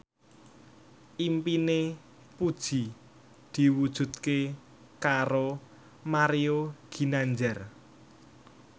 impine Puji diwujudke karo Mario Ginanjar